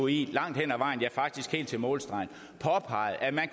i langt hen ad vejen ja faktisk helt til målstregen påpeget at man